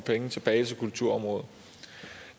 penge tilbage til kulturområdet